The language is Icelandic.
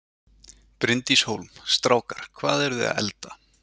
Bryndís Hólm: Strákar, hvað eru þið að elda?